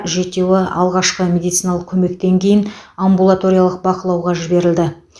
жетеуі адам алғашқы медициналық көмектен кейін амбулаториялық бақылауға жіберілді